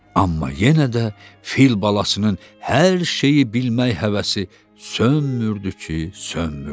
Amma yenə də fil balasının hər şeyi bilmək həvəsi sönmürdü ki, sönmürdü.